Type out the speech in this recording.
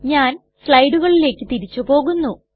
ഞാൻ സ്ലയ്ടുകളിലേക്ക് തിരിച്ചു പോകുന്നു